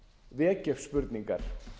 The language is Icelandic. vekja upp spurningar